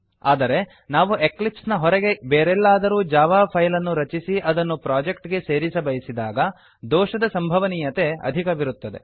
ಆದರೆ ನಾವು ಎಕ್ಲಿಪ್ಸ್ ನ ಹೊರಗೆ ಬೇರೆಲ್ಲಾದರೂ ಜಾವಾ ಫೈಲ್ ಅನ್ನು ರಚಿಸಿ ಅದನ್ನು ಪ್ರೊಜೆಕ್ಟ್ ಗೆ ಸೇರಿಸಬಯಸಿದಾಗ ದೋಷದ ಸಂಭವನೀಯತೆ ಅಧಿಕವಿರುತ್ತದೆ